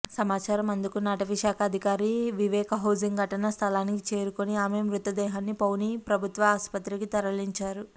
సమాచారం అందుకున్న అటవీశాఖ అధికారి వివేక్ హోసింగ్ ఘటనా స్థలానికి చేరుకుని ఆమె మృతదేహాన్ని పౌనీ ప్రభుత్వ ఆసుపత్రికి తరలించారు